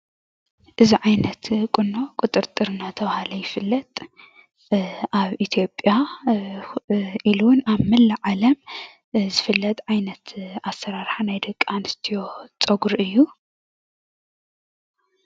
እዚ ዓይነት ቁኖ ቁጥርጥር እናተብሃለ ይፍለጥ። አብ ኢትዮጵያ ኢሉ እውን ኣብ መላእ ዓለም ዝፍለጥ ዓይነት ኣሰራርሓ ናይ ደቂ አንስትዮ ፀጉሪ እዪ።